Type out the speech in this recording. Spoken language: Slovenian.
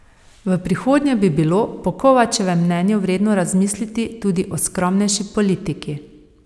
V prihodnje bi bilo po Kovačevem mnenju vredno razmisliti tudi o skromnejši politiki.